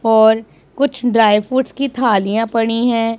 और कुछ dry fruits की थालियां पड़ीं हैं।